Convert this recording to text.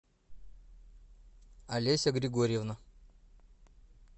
олеся григорьевна